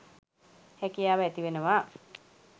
හැකියාව ඇතිවෙනවා